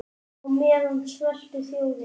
Á meðan sveltur þjóðin.